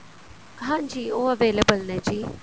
ਹਾਂਜੀ ਉਹ available ਨੇ ਜੀ